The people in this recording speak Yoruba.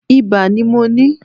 Ibà ni mo ní.